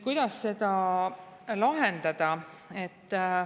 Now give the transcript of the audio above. Kuidas seda lahendada?